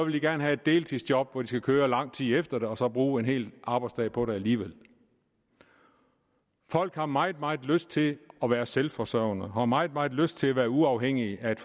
de gerne have et deltidsjob hvor de skal køre lang tid efter det og så bruge en hel arbejdsdag på det alligevel folk har meget meget lyst til at være selvforsørgende og har meget meget lyst til at være uafhængige af et